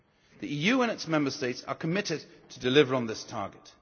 The EU and its Member States are committed to delivering on this target.